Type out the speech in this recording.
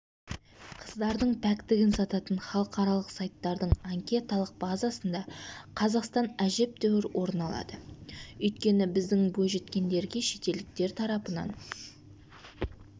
қыздардың пәктігін сататын халықаралық сайттардың анкеталық базасында қазақстан әжептәуір орын алады өйткені біздің бойжеткендерге шетелдіктер тарапынан